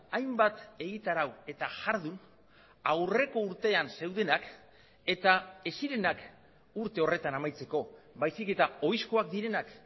hainbat egitarau eta jardun aurreko urtean zeudenak eta ez zirenak urte horretan amaitzeko baizik eta ohizkoak direnak